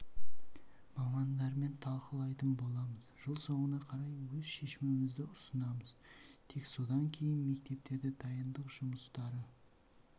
мамандармен талқылайтын боламыз жыл соңына қарай өз шешімімізді ұсынамыз тек содан кейін мектептерде дайындық жұмыстары